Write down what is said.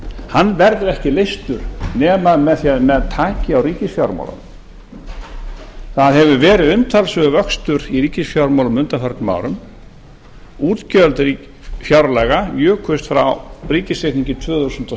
hann verður ekki leystur nema með því að menn taki á ríkisfjármálunum það hefur verið umtalsverður vöxtur í ríkisfjármálum á undanförnum árum útgjöld fjárlaga jukust frá ríkisreikningi tvö þúsund og